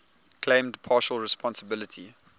claimed partial responsibility